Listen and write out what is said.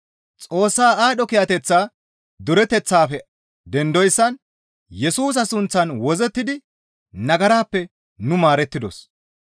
Xoossa aadho kiyateththa dureteththaafe dendoyssan Yesusa suuththan wozzettidi nagarappe nu maarettidos.